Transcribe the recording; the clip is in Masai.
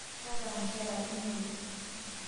Kaata nkera imet